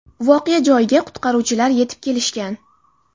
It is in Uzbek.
Voqea joyiga qutqaruvchilar yetib kelishgan.